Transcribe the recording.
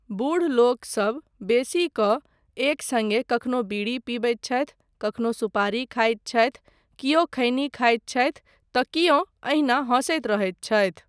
बूढ़ लोकसब बैसि कऽ एक सङ्गे कखनो बीड़ी पिबैत छथि, कखनो सुपारी खाइत छथि, कियो खैनी खाइत छथि तँ कियो एहिना हसैत रहैत छथि।